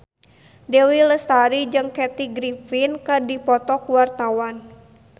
Dewi Lestari jeung Kathy Griffin keur dipoto ku wartawan